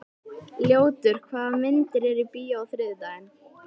Ljótur, hvaða myndir eru í bíó á þriðjudaginn?